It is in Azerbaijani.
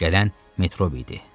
Gələn Metrobidir.